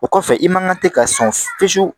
O kɔfɛ i man kan tɛ ka sɔn fiye fiyewu